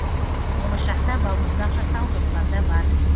болашақта балмұздақ жасау жоспарда бар